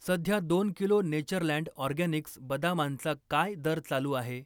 सध्या दोन kilo Natureland Organics बदामांचा काय दर चालू आहे?